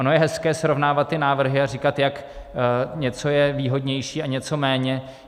Ono je hezké srovnávat ty návrhy a říkat, jak něco je výhodnější a něco méně.